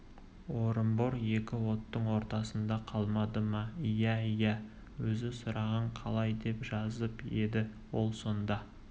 орынбор екі оттың ортасында қалмады ма иә иә өзі сұраған қалай деп жазып еді ол сонда